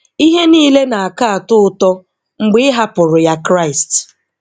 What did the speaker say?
Ihe niile na-aka atọ ụtọ mgbe ị hapụrụ ya Kraịst."